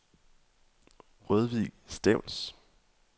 Rødvig Stevns